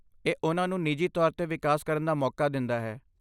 ਇਹ ਉਹਨਾਂ ਨੂੰ ਨਿੱਜੀ ਤੌਰ 'ਤੇ ਵਿਕਾਸ ਕਰਨ ਦਾ ਮੌਕਾ ਦਿੰਦਾ ਹੈ।